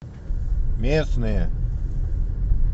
местные